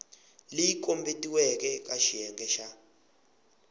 leyi kombetiweke eka xiyenge xa